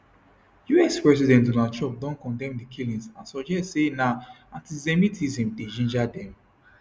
us president donald trump don condemn di killings and suggest say na antisemitism dey ginger dem